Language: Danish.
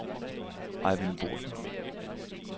Ejvind Boesen